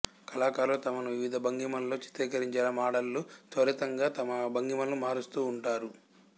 కళాకారులు తమను వివిధ భంగిమలలో చిత్రీకరించేలా మాడళ్ళు త్వరితంగా తమ భంగిమలను మారుస్తూ ఉంటారు